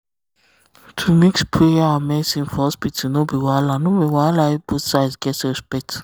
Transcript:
to mix prayer and medicine for hospital no be wahala no be wahala if both side get respect